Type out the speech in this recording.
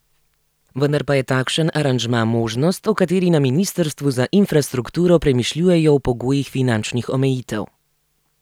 Vendar je pa takšen aranžma možnost, o kateri na ministrstvu za infrastrukturo premišljujejo v pogojih finančnih omejitev.